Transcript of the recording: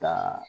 Ka